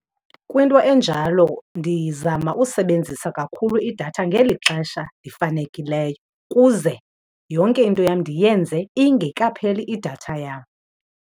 Kwinto enjalo ndizama usebenzisa kakhulu idatha ngeli xesha lifanekileyo kuze yonke into yam ndiyenze ingekapheli idatha yam.